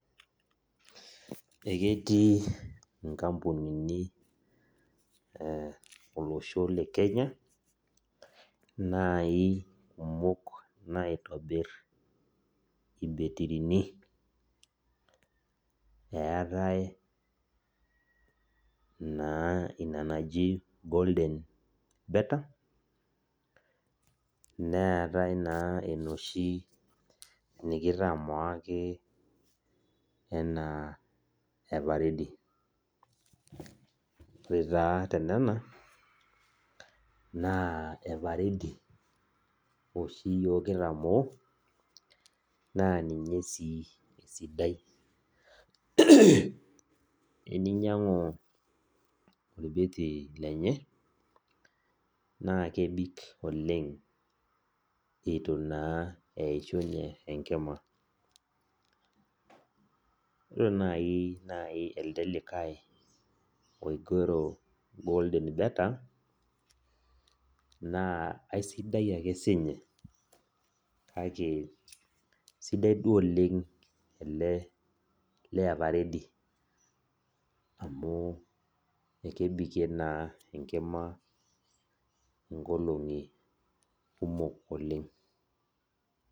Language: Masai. Eketii nkampunini olosho le Kenya nai naitonir irbetrini eetae na ina naji golden beter neetae na enoshi nikitamoo everready ore tonona na everready oshi yiok kitamoo na ninye esidai eninyangu orbetri lenye na kebik oleng itu ore nai elde likae golden beter na aisidai ake sinye sidai duo oleng ever ready amu kebikie na enkima nkolongi kumok oleng.